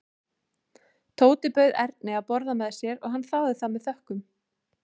Tóti bauð Erni að borða með sér og hann þáði það með þökkum.